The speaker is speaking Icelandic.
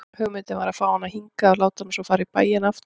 Hugmyndin var að fá hana hingað og láta hana svo fara í bæinn aftur.